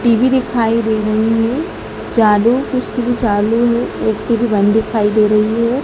TV दिखाई दे रही है चालू कुछ टी_वी चालू है एक टी_वी बंद दिखाई दे रही हैं।